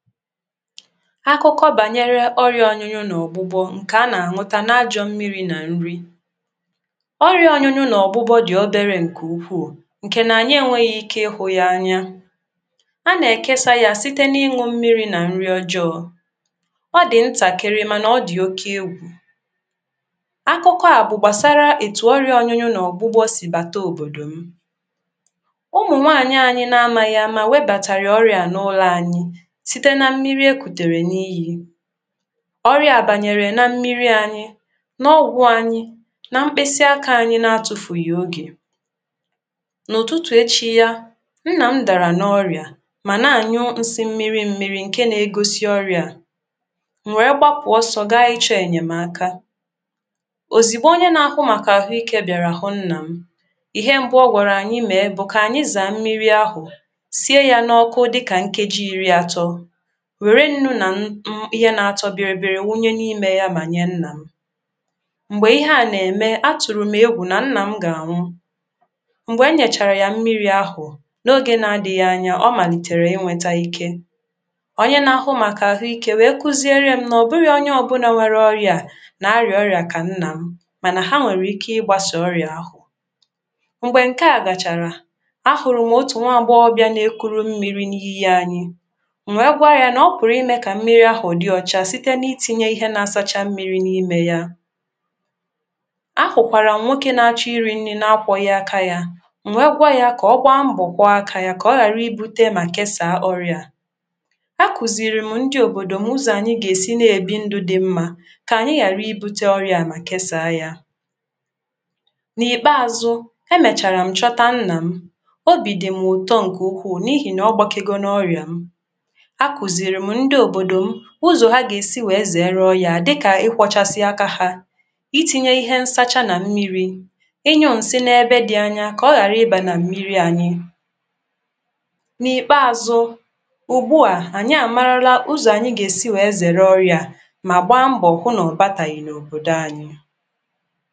Akụkọ banyere ọrịa ọnyunyu na ọgbụgbọ nke a na-aṅụta na mmiri na nri. Ọrịa ọnyunyu na ọgbụgbọ dị obere nke ukwuu nke na anyị enweghị ike ịhụ ya anya, a na-ekesa ya site n’ịṅụ mmiri na nri ojọọ. ọ dị ntakịrị mana ọ dị oke egwù. Akụkọ a bụ gbasara etu ọrịa ọnyunyu na ọgbụgbọ sị bata obodo m.Ụmụnwaanyị anyị na amaghị ama webatara ọrịa a n'ụlọ anyị, site na mmiri ekutere n'iyi, ọrịa a banyere na mmiri anyị, n’ọgwụ anyị, na mkpịsị aka anyị na-atụfụghị oge. N’ụtụtụ echi ya, nnam dàrà n’ọrịa màna anyụ nsi mmiri mmiri nke na-egosi ọrịa a, m nwè gbapụ ọsọ gaa ịchọ ènyèmaka, ozìgbo onye na-ahụ màkà ahụike bịàrà hụ nnà m,ihe mbụ ọ gwara anyị mee bụ̀ kà anyị zàà mmiri ahụ, sie ya n'ọkụ dịka nkeji iri atọ, were nnụ na um ihe na-atọ bịrịbịrị wunye n’ime ya ma nye nna m. Mgbe ihe a na-eme, atụrụ m egwu na nna m ga-anwụ, mgbe enyechara ya mmiri ahụ, n’oge na-adịghị anya ọ malitere inweta ike. Onye na-ahụ maka ahụike wee kuziere m n’ọbụghị onye ọbụla nwere ọrịa a na-arịa ọrịa ka nna m mana ha nwere ike ịgbasa ọrịa ahụ. Mgbe nke a gachara, ahụrụ m otu nwa agbọghọ na-ekuru mmiri n’iyi anyị. M wee gwa ya na-ọpụrụ ime ka mmiri ahụ dị ọcha site na itinye ihe na-asacha mmiri n’ime ya. Ahụkwara m nwoke na-achọ iri nri n’akwọghi aka ya, m wee gwa ya ka ọ gbaa mbọ kwoo aka ya ka ọ ghara ibute ma kesaa ọrịa a. Akụziri m ndị obodo m ụzọ anyị ga-esi na-ebi ndụ dị mma ka anyị ghara ibute ọrịa a ma kesaa ya. N’ikpeazụ, e mechara m zọta nna m. Obi dị m ụtọ nke ukwu n’ihi n' ọgbakego n' ọrịa ahu, e kụziri ndị obodo m ụzọ̀ ha gà-esi wèe zèere Ọrịa a dịkà ịkwọchasị aka ha, iti̇nyė ihe nsacha nà mmịrị̇, ịnyụ̇ nsị n’ebe dị̇ anya kà ọ ghàra ịbà nà mmịrị̇ any. N’ikpeazụ, ugbu à, ànyị àmarala ụzọ̀ ànyị gà-esi wèe zèere ọrịà mà gbaa mbọ̀ hụ nà ọ̀ batàghị̀ n’òbòdò anyị